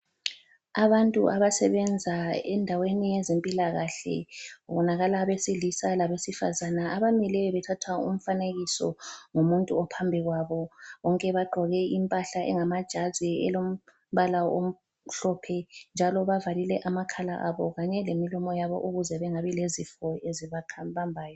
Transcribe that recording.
Abantu abasebenza endaweni yezempilakahle kubonakala abesilisa labesifazana abamileyo bethatha umfanekiso ngumuntu ophambi kwabo bonke bagqoke impahla engamajazi elombala omhlophe njalo bavalile amakhala abo kanye lemilomo yabo ukuze bengabi lezifo ezibabambayo.